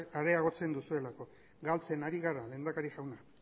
areagotzen duzuelako galtzen ari gara lehendakari jauna